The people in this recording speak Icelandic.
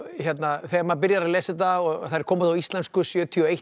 þegar maður byrjar að lesa þetta og þær koma út á íslensku sjötíu og eitt